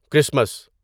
Christmas